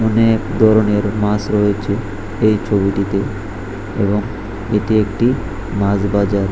অনেক ধরনের মাস রয়েছে এই ছবিটিতে এবং এটি একটি মাস বাজার।